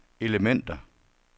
elementer